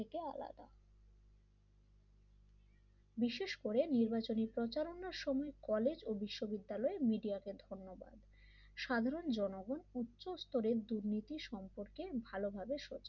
বিশেষ করে নির্বাচনী প্রচারণের সময় কলেজ বিশ্ববিদ্যালয় মিডিয়াকে ধন্যবাদ সাধারণ জনগণ উচ্চ স্তরের দুর্নীতি সম্পর্কে ভালোভাবে সচেতন